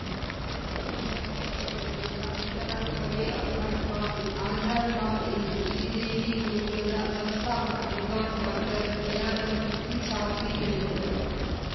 ದೇಹಾತ್ಮ ಪರಮಾತ್ಮನ ನಡುವಿನ ಅಂತರಾತ್ಮವೇ ಅಧ್ಯಾತ್ಮ ಎ ಅಧ್ಯಾತ್ಮ ಎಂದು ಶ್ರೀ ದೇವಿ ಗುರುಕುಲದ ಸಂಸ್ಥಾಪಕ ವಿದ್ವಾನ್‌ ಡಾಕ್ಟರ್ ದಯಾನಂದಮೂರ್ತಿ ಶಾಸ್ತ್ರಿ ಹೇಳಿದರು